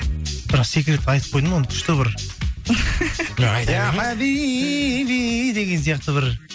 бірақ секретті айтып қойдым оны күшті бір иа хабиби деген сияқты бір